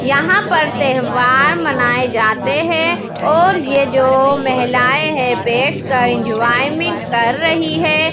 यहां पर त्यौहार मनाए जाते हैं और ये जो महिलाएं हैं बैठकर एंजॉयमेंट कर रही है।